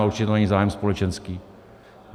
Ale určitě to není zájem společenský.